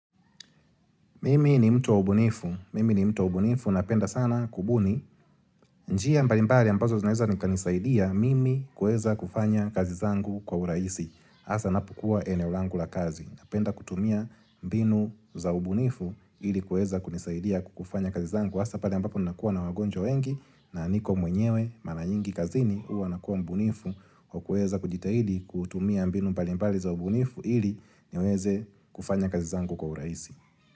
Mimi ni mtu wa ubunifu. Mimi ni mtu wa ubunifu. Napenda sana kubuni. Njia mbalimbari ambazo zinaeza ni kanisaidia mimi kueza kufanya kazi zangu kwa uraisi. Asa napokua eneo langu la kazi. Napenda kutumia mbinu za ubunifu ili kueza kunisaidia kufanya kazi zangu. Hasa pale ambapo nakuwa na wagonjwa wengi na niko mwenyewe mara nyingi kazini huwa nakuwa mbunifu kwa kueza kujitahidi kutumia mbinu mbalimbali za ubunifu ili niweze kufanya kazi zangu kwa uraisi.